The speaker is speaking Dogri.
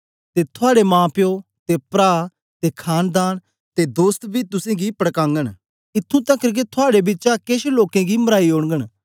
ते थुआड़े माप्यो ते प्रा ते खांनदान ते दोस्त बी तुसेंगी पड़कागन इत्थूं तकर के थुआड़े बिचा केछ लोकें गी मराई ओड़न